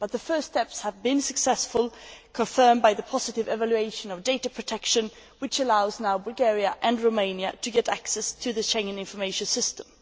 But the first steps have been successful, confirmed by the positive evaluation of data protection, which allows now Bulgaria and Romania to get access to the Schengen Information System.